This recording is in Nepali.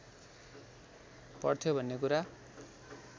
पर्थ्यो भन्ने कुरा